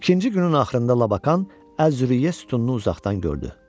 İkinci günün axırında Lakan Əz-Züriyyə sütununu uzaqdan gördü.